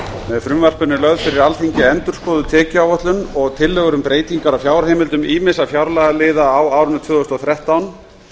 með frumvarpinu er lögð fyrir alþingi endurskoðuð tekjuáætlun og tillögur um breytingar á fjárheimildum ýmissa fjárlagaliða á árinu tvö þúsund og þrettán